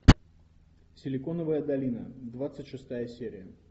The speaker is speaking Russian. силиконовая долина двадцать шестая серия